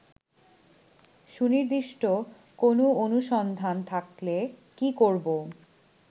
সুনির্দিষ্ট কোন অনুসন্ধান থাকলে কি করবো